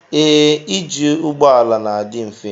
Ee ije ụgbọala n'adi mfe.